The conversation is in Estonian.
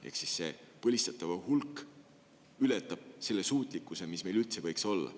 Ehk põlistatavate hulk ületab selle suutlikkuse, mis meil üldse võiks olla.